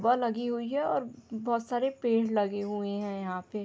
Ball लगी हुई है और बहुत सारे पेड़ लगे हुए है यहाँ पे।